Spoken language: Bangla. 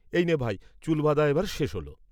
এই নে ভাই, চুল বাঁধা এবার শেষ হোলো।